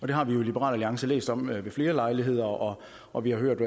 det har vi i liberal alliance læst om ved flere lejligheder og og vi har hørt